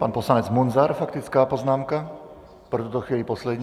Pan poslanec Munzar - faktická poznámka, pro tuto chvíli poslední.